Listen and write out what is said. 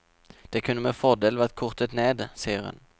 Det kunne med fordel vært kortet ned, sier hun.